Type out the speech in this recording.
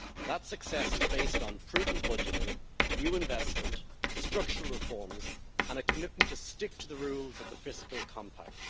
That success is based on prudent budgeting, new investment, structural reforms and a commitment to stick to the rules of the fiscal compact.